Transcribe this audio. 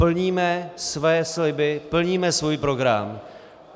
Plníme své sliby, plníme svůj program.